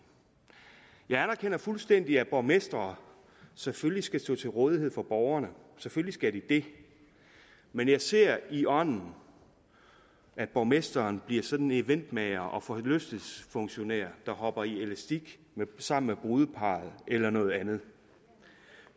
jeg anerkender fuldstændig at borgmestre selvfølgelig skal stå til rådighed for borgerne selvfølgelig skal de det men jeg ser i ånden at borgmesteren bliver sådan en eventmager og forlystelsesfunktionær der hopper i elastik sammen med brudeparret eller noget andet